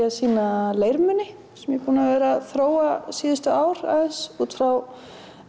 að sýna leirmuni sem ég er búin að vera að þróa síðustu ár aðeins út frá